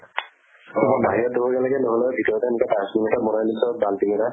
অ বাহিৰত ধুব্গে লাগে নহলে ভিতৰতে এনেকে dustbin এটা বনাই লৈছো আৰু বাল্টিং এটাত